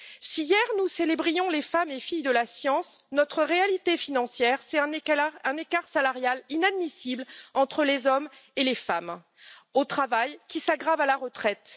Si hier, nous célébrions les femmes et filles de la science, notre réalité financière, c'est un écart salarial inadmissible entre les hommes et les femmes au travail, qui s'aggrave encore à la retraite.